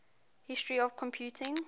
history of computing